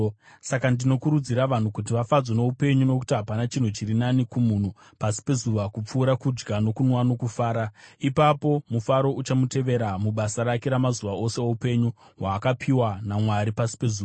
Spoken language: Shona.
Saka ndinokurudzira vanhu kuti vafadzwe noupenyu, nokuti hapana chinhu chiri nani kumunhu pasi pezuva kupfuura kudya nokunwa nokufara. Ipapo mufaro uchamutevera mubasa rake mazuva ose oupenyu hwaakapiwa naMwari pasi pezuva.